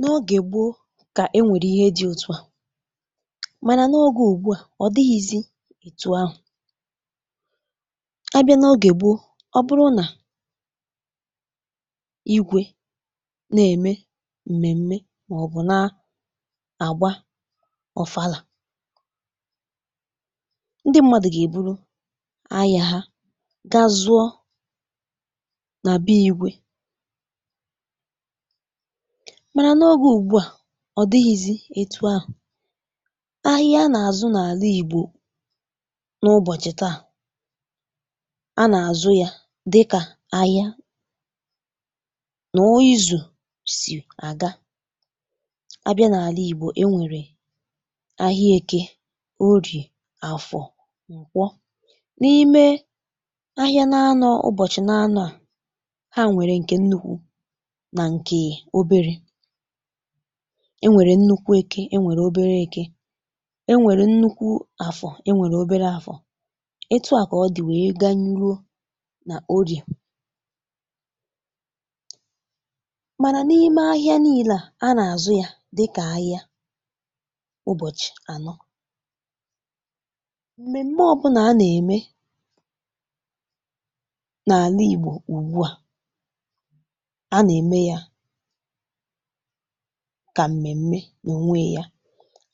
N’ogè gboo kà e nwèrè ihe dị̇ òtù a, mànà n’ogè ùgbua ọ̀ dịghịzị ètu ahụ̀. A bịa n’ogè gboo, ọ bụrụ nà igwė na-ème m̀mèm̀mè màọbụ̀ na-àgba Ọ̀falà, ndị mmadụ̀ gà-èburu ahịȧ ha gazuo nà bee igwė ọ̀, mànà n’ogè ùgbua ọ̀ dịghịzị ètu ahụ̀. Ahịa n’àzụ n’Àlà Ìgbò n’ụbọ̀chị̀ tà, a n’àzụ ya dịkà ahịa nà o izù sì àga, abịa n’Àlà Ìgbò, e nwèrè ahịa Ekė, Orìà Àfọ̀ Kwọ, n’ime ahịa na-anọ̇ ụbọ̀chị̀ na-anọ̇ à, ha nwèrè ǹkè nnukwu na nke obere, e nwèrè nnukwu Ekė, e nwèrè obere Ekė, e nwèrè nnukwu Àfọ̀, e nwèrè obere Àfọ̀, ètù a kà ọ dị̀ wèe gà-nrụo nà Orìà mànà n’ime ahịȧ niilȧ, a nà-àzụ ya dịkà ahịa ụbọ̀chị̀ anọ, m̀mèm̀mè ọbụnà a nà-ème n’Àlà Ìgbò ùgbua, a nà-ème ya kà m̀mèm̀mè nà ònwe ya,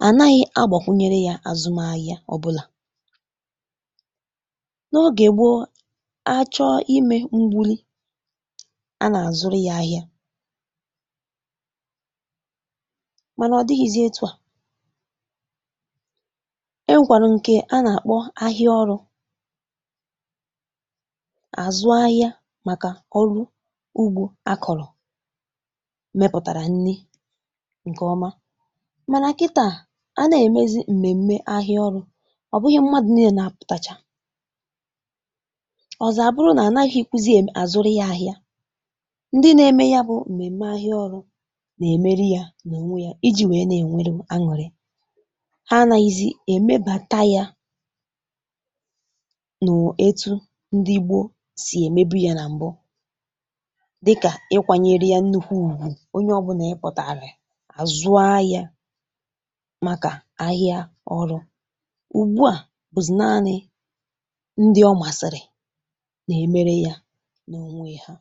à naghị̇ agbọ̀kwụnye ya àzụm ahịa ọ̀bụ̀là n’ogè gboo, achọ̀ imė mgbìli, a nà-àzụrụ ya ahịa mànà ọ̀ dịghị̇zị àtụ a, ẹ nwẹ̀rẹ̀ ǹkẹ̀ a nà-àkpọ ahịa Ọrụ, àzụ ahịa màkà ọrụ ùgbò a kọ̀rọ̀ mepụtara nri ǹkè ọma, mànà kítà a nà-èmezi m̀mèm̀mè ahịa Ọrụ ọ̀ bụghị mmadụ̇ nịlè na-àpụ̀tàchà, ọ̀zọ̀ abụrụ nà ànaghịzi kwu̇ ème àzụrị ya ahịa, ndị na-ème ya bụ m̀mèm̀mè ahịa Ọrụ nà-èmeri ya nà ònwe ya iji̇ nwèe nà-ènwere aṅụrị, ha anàghịzị èmebàta ya nụ̀ etu ndị gboo sì èmebi ya nà m̀bụ dịkà ịkụ̀nyere ya nnukwu ùgwù, onye ọbụna ìpụ̀tárì, zụrụ ahịa màkà ahịa Ọrụ, ugbu à bụ̀zị̀ naanị̇ ndị ọ̀ masịrị nà-èmere ya n’ònwe ha.